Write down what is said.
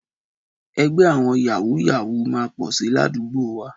Ẹgbẹ́ àwọn Yàwúù-yàwúù máa pọ̀ si ládùúgbò wa.